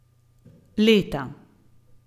Leta.